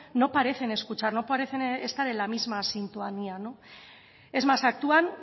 no parecen escuchar no parecen estar en la misma sintonía es más actúan